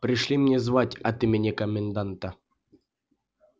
пришли меня звать от имени коменданта